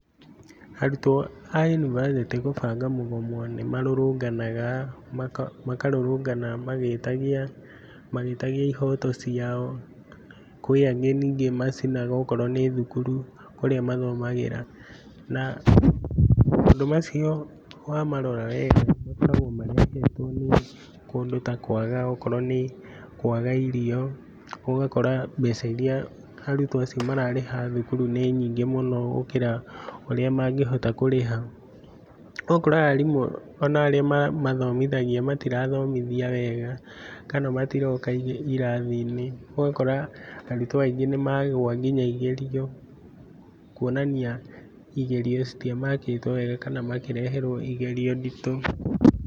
arutwo a yunivasĩtĩ kũbanga mũgomo nĩmarũrũnganaga makarũrũngana magĩtagia magĩtagia ihoto ciao. Kwĩangĩ nyingĩ macinaga okorwo nĩthukuru kũrĩa mathomagĩra. Na maũndũ macio wamarora wega makoragwo marehetwo nĩkũndũ takwaga okorwo nĩkwaga irio, ũgakora mbeca iria mbeca iria arutwio mararĩha thukuru nĩnyingĩ mũno gũkĩra ũrĩa mangĩhota kũrĩha. ũgakora ona arimũ aria mamathomagithia matirathomithia wega kana matiroka irathi-inĩ. ũgakora arutwo aingĩ nĩmagũa nginya igerio kwonania igerio citiamakĩtwo wega kana makĩreherwo igerio nditũ.